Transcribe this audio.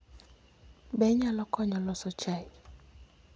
Be inyalo konya loso chai?